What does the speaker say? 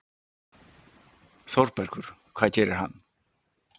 ÞÓRBERGUR: Hvað gerir hann?